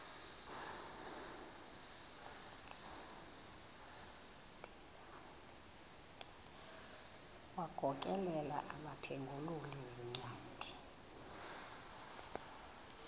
wagokelela abaphengululi zincwadi